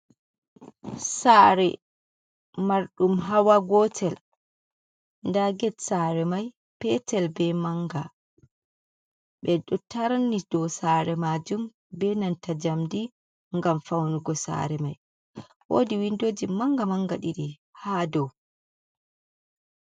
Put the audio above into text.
Sare mar ɗum hawa gotel, nda get sare mai petel be manga, ɓe ɗo tarni dow sare majun be nanta jam ndi gam faunugo sare mai, wodi windoji manga manga ɗiɗi ha dow.